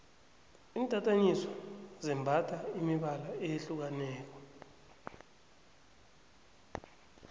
intatanyiswa zembatha imibala eyehlukaneko